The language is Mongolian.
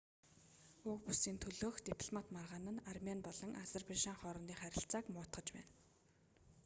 уг бүсийн төлөөх дипломат маргаан нь армени болон азербайжан хоорондын харилцааг муутгаж байна